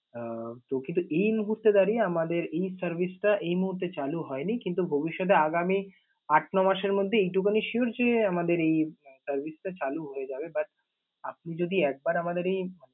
আহ তো কিন্তু এই মুহূর্তে দাঁড়িয়ে আমাদের এই service টা এই মুহূর্তে চালু হয়নি কিন্তু ভবিষ্যতে আগামি আট, নয় মাসের মধ্যে এইটুকুনই sure যে আমাদের এই service টা চালু হয়ে যাবে But আপনি যদি একবার আমাদের এই